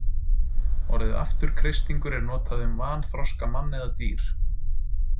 Orðið afturkreistingur er notað um vanþroska mann eða dýr.